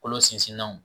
Kolo sinsinnaw